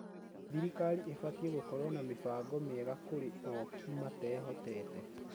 Thirikari ĩbatiĩ gũkorwo na mĩbango miega kũrĩ ooki matehotete